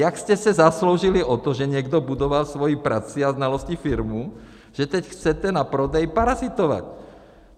Jak jste se zasloužili o to, že někdo budoval svou prací a znalostí firmu, že teď chcete na prodeji parazitovat?